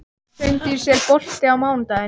Hraundís, er bolti á mánudaginn?